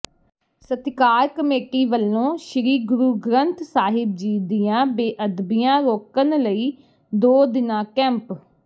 ਸਤਿਕਾਰ ਕਮੇਟੀ ਵੱਲੋਂ ਸ੍ਰੀ ਗੁਰੂ ਗ੍ਰੰਥ ਸਾਹਿਬ ਜੀ ਦੀਆਂ ਬੇਅਦਬੀਆਂ ਰੋਕਣ ਲਈ ਦੋ ਦਿਨਾਂ ਕੈਂਪ